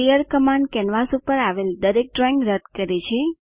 clear command canvas ઉપર આવેલ દરેક ડ્રોઇંગ રદ કરે છે